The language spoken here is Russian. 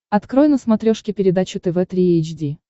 открой на смотрешке передачу тв три эйч ди